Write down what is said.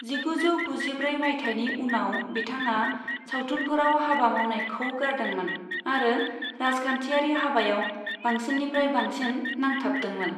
जिगुजौ गुजिब्रै मायथाइनि उनाव बिथाङा सावथुनफोराव हाबा मावनायखौ गारदोंमोन आरो राजखान्थियारि हाबायाव बांसिननिफ्राय बांसिन नांथाबदोंमोन।